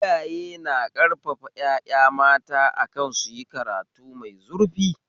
Iyaye na ƙarfafa ƴaƴa mata akan suyi karatu mai zurfi